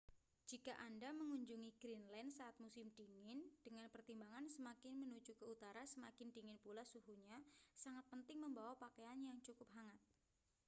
jika anda mengunjungi greenland saat musim dingin dengan pertimbangan semakin menuju ke utara semakin dingin pula suhunya sangat penting membawa pakaian yang cukup hangat